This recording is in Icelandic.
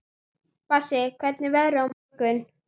Bassí, hvernig er veðrið á morgun?